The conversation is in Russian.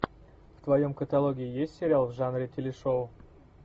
в твоем каталоге есть сериал в жанре телешоу